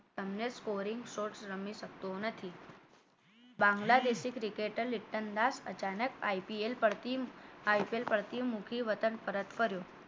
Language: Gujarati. મુક્તને કોરી short રમી શકતો નથી બાંગ્લાદેશે cricketer લિપ્ટન દાસ અચાનક IPl પરથી પડતી મૂકી વતન પરત ફર્યો